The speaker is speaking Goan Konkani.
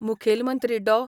मुखेल मंत्री डॉ.